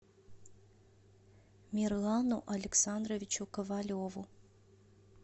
мирлану александровичу ковалеву